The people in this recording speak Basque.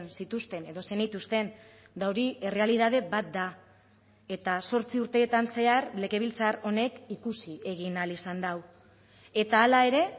zituzten edo zenituzten eta hori errealitate bat da eta zortzi urtetan zehar legebiltzar honek ikusi egin ahal izan du eta hala ere